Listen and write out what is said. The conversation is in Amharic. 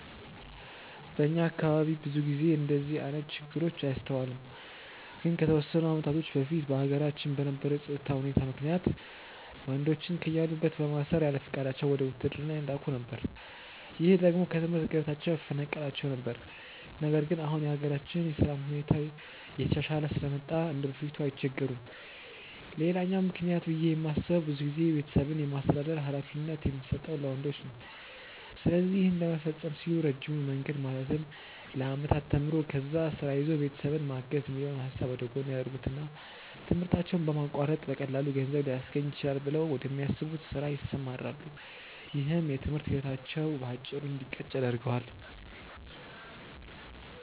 በእኛ አካባቢ ብዙ ጊዜ እንደዚህ አይነት ችግር አይስተዋልም። ግን ከተወሰኑ አመታቶች በፊት በሀገራችን በነበረው የፀጥታ ሁኔታ ምክንያት ወንዶችን ከያሉበት በማሰር ያለፍቃዳቸው ወደ ውትድርና ይላኩ ነበር። ይህ ደግሞ ከትምህርት ገበታቸው ያፈናቅላቸው ነበር። ነገር ግን አሁን የሀገራችን የሰላም ሁኔታ እየተሻሻለ ስለመጣ እንደበፊቱ አይቸገሩም። ሌላኛው ምክንያት ብዬ የማስበው ብዙ ጊዜ ቤተሰብን የማስተዳደር ሀላፊነት የሚሰጠው ለወንዶች ነው። ስለዚህ ይህን ለመፈፀም ሲሉ ረጅሙን መንገድ ማለትም ለአመታት ተምሮ፣ ከዛ ስራ ይዞ ቤተሰብን ማገዝ የሚለውን ሀሳብ ወደጎን ያደርጉትና ትምህርታቸውን በማቋረጥ በቀላሉ ገንዘብ ሊያስገኝልኝ ይችላል ብለው ወደሚያስቡት ስራ ይሰማራሉ። ይህም የትምህርት ህይወታቸው በአጭሩ እንዲቀጭ ያደርገዋል።